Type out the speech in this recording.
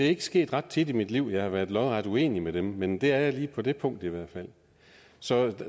er sket ret tit i mit liv at jeg har være lodret uenig med dem men det er jeg lige på det punkt i hvert fald så